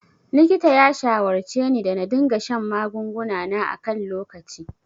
Likita ya shawarceni da na dinga shan magunguna na a kan lokaci.